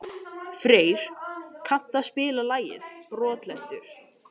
Freyr, kanntu að spila lagið „Brotlentur“?